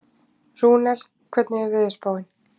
Rúnel, hvernig er veðurspáin?